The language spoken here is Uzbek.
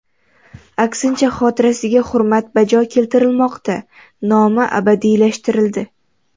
Aksincha, xotirasiga hurmat bajo keltirilmoqda, nomi abadiylashtirildi.